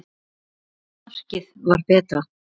Hvort markið var betra?